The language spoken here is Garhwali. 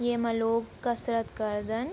येमा लोग कसरत करदन ।